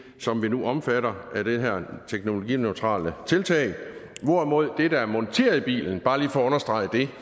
som vi nu omfatter af det her teknologineutrale tiltag hvorimod det der er monteret i bilen bare lige for at understrege det